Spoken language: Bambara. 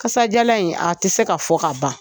Kasa jalan in a tɛ se ka fɔ ka ban